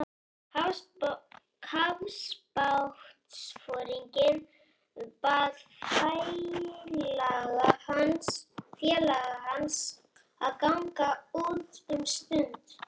Kafbátsforinginn bað félaga hans að ganga út um stund.